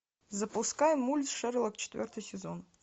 запускай мульт шерлок четвертый сезон